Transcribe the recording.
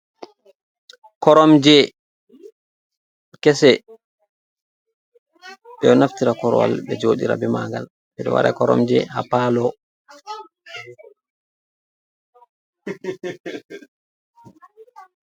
Koromje kese ɓeɗo naftira korwal ɓe joɗira be magal ɓeɗo waɗa koromje ha palo.